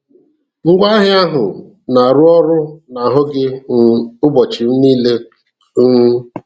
Ngwaahịa ahụ na-arụ ọrụ n'ahụ gị um ụbọchị niile. um